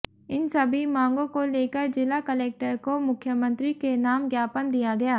इन सभी मांगो को लेकर जिला कलेक्टर को मुख्यमंत्री के नाम ज्ञापन दिया गया